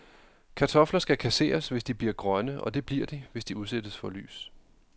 Kartofler skal kasseres, hvis de bliver grønne, og det bliver de, hvis de udsættes for lys.